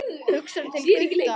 Hugsar til Gutta.